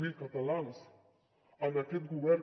zero catalans en aquest govern